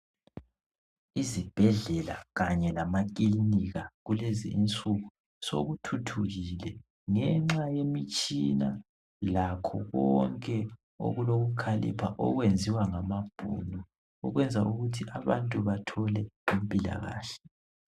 Izibhedlela kanye lamakilinika kulezi insuku sokuthuthukile ngenxa yemitshina lakho konke okulokukhalipha okwenziwa ngamabhunu ukwenza ukuthi abantu bathole impilakahle.